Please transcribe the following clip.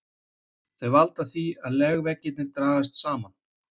Þau valda því að legveggirnir dragast saman.